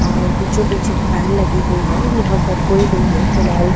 और बीचोंबीच एक फैन लगी हुई है यहां पर कोई नहीं है फिलहाल --